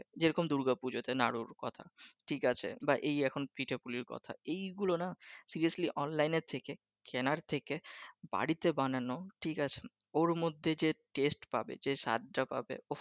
যেরকম দুর্গা পূজাতে নাড়ুর কথা ঠিক আছে বা এই এখন পিঠা পুলির কথা এই গুলো নাহ seriously অনলাইনের থেকে কেনার থেকে বাড়ীতে বানানো ঠিক আছে ওর মধ্যে যে টেস্ট পাবে যে স্বাদটা পাবে